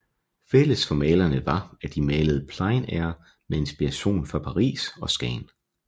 Fælles for malerne var at de malede plein air med inspiration fra Paris og Skagen